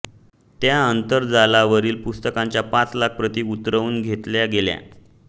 त्या आंतरजालावरील पुस्तकाच्या पाच लाख प्रती उतरवून घेतल्या गेल्या